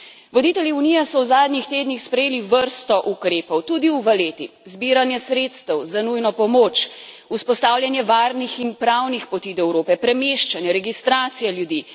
Voditelji Unije so v zadnjih tednih sprejeli vrsto ukrepov, tudi v Valetti, zbiranje sredstev za nujno pomoč, vzpostavljanje varnih in pravnih poti do Evrope, premeščanje, registracija ljudi.